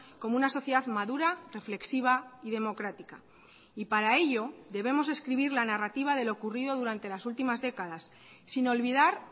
como una sociedad madura reflexiva y democrática y para ello debemos escribir la narrativa de lo ocurrido durante las últimas décadas sin olvidar